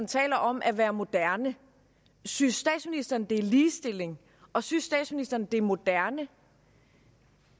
taler om at være moderne synes statsministeren at det er ligestilling og synes statsministeren at det er moderne